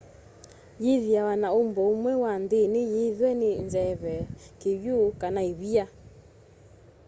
yithiawa na umbo umwe wa nthini yithw'e ni nzeve kiw'u kana ivia